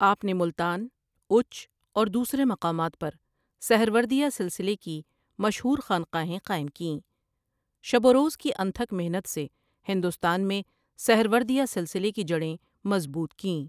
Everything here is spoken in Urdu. آپ نے ملتان، اُوچ اور دوسرے مقامات پر سہروردیہ سلسلے کی مشہور خانقاہیں قائم کیں شب و روز کی انتھک محنت سے ہندوستان میں سہروردیہ سلسلے کی جڑیں مضبوط کیں۔